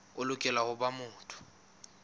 o lokela ho ba motho